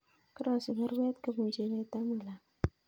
Karosich baruet kobun Chebet amut langat